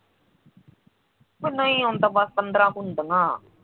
ਓ ਨਹੀਂ ਹੁਣ ਤਾਂ ਬਸ ਪੰਦਰਾ ਕੁ ਹੁੰਦੀਆਂ